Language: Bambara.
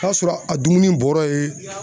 Taa sɔrɔ a dumuni bɔra ye.